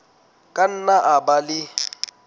ka nna a ba le